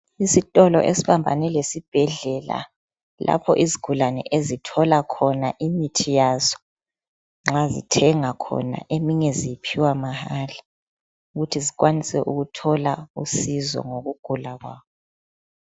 Isitolo esibambane lesibhedlela lapho izigulane ezithola khona imithi yazo nxa bethenga khona eminye ziphiwa emahlale ukuthi zikwanise ukuthola usizo ngokugula kwabo.